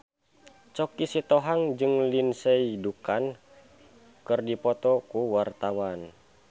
Choky Sitohang jeung Lindsay Ducan keur dipoto ku wartawan